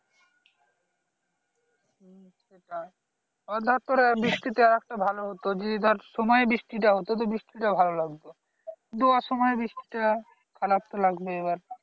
তাই এবার ধরে তোরা বৃষ্টি তে আরেকটা ভালো হতো যে ধরে সময়ে যদি বৃষ্টি টা হতো বৃষ্টিটা ভালো লাগতো দোয়ার সময় বৃষ্টিটা খারাপ তো লাগবেই এবার